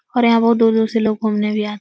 और यहाँ बहुत दूर- दूर से लोग घूमने भी आते --